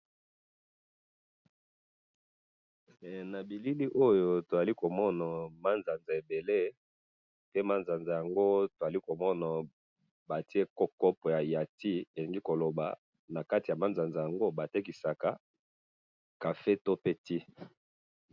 he nabilili oyo tozali komona manzanza ebele yacopo pe na manzanza yango bazali kotekisa nakati cafe to tea.